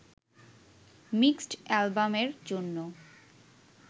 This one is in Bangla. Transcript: মিক্সড অ্যালবামের জন্য